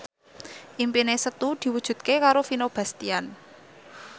impine Setu diwujudke karo Vino Bastian